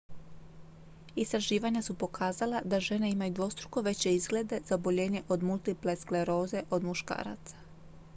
istraživanja su pokazala da žene imaju dvostruko veće izglede za oboljenje od multiple skleroze od muškaraca